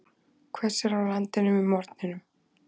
Hvessir á landinu með morgninum